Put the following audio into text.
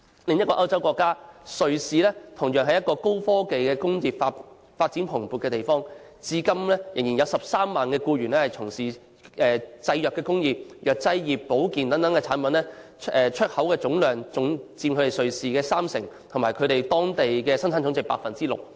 另一個歐洲國家瑞士同樣是一個高科技工業發展蓬勃的地方，至今仍有約13萬僱員從事製藥工業，藥劑、保健等產品出口量佔總出口量三成，產值佔當地生產總值的 6%。